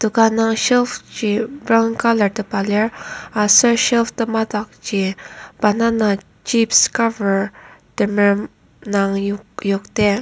ka nung shelf ji brown colour tepa lir aser shelf temadakji banana chips cover temerem indang yokdar.